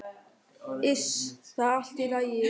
Iss, það er allt í lagi.